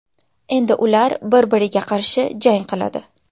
Endi ular bir-biriga qarshi jang qiladi.